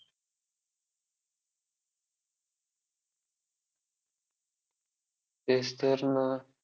तेच तर ना! Marathi comedy movies